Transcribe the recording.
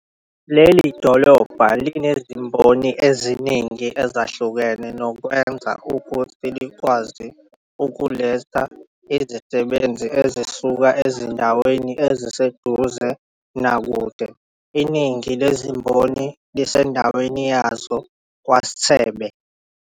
Leli dolobha linezimboni eziningi ezahlukene nokwenza ukuthi likwazi ukuletha izisebenzi ezisuka ezindaweni eziseduze nakude. Iningi lezimboni lesindaweni yazo KwaSithebe.